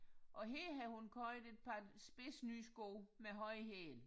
Og her har hun købt et par spidse nye sko med høje hæle